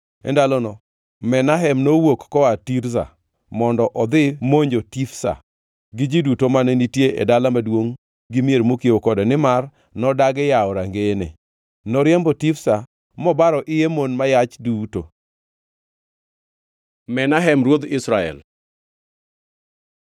E ndalono Menahem nowuok koa Tirza mondo modhi monjo Tifsa gi ji duto mane nitie e dala maduongʼ gi mier mokiewo kode nimar nodagi yawo rangeyene. Noriembo Tifsa mobaro iye mon ma yach duto. Menahem ruodh Israel